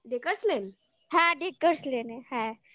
dacres lane হ্যাঁ dacres lane হ্যাঁ